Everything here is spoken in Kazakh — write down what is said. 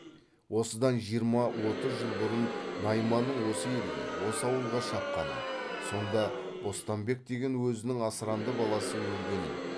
осыдан жиырма отыз жыл бұрын найманның осы елге осы ауылға шапқанын сонда бостанбек деген өзінің асыранды баласы өлгенін